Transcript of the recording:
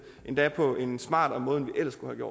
endda på en smartere måde end vi ellers kunne